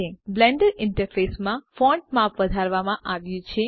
Blender ઈન્ટરફેસમાં font માપ વધારવામાં આવ્યુ છે